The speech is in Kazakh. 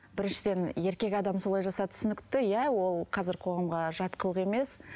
біріншіден еркек адам солай жасады түсінікті иә ол қазір қоғамға жат қылық емес